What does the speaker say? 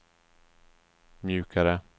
mjukare